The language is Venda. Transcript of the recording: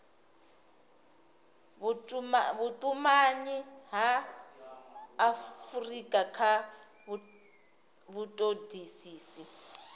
vhutumanyi ha afurika kha vhutodisisi